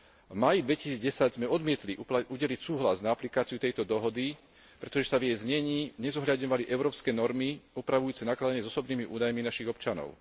V máji 2010 sme odmietli udeliť súhlas na aplikáciu tejto dohody, pretože sa v jej znení nezohľadňovali európske normy opravujúce nakladanie s osobnými údajmi našich občanov.